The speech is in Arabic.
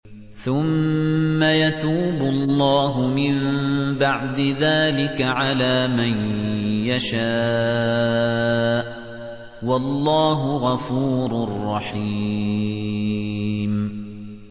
ثُمَّ يَتُوبُ اللَّهُ مِن بَعْدِ ذَٰلِكَ عَلَىٰ مَن يَشَاءُ ۗ وَاللَّهُ غَفُورٌ رَّحِيمٌ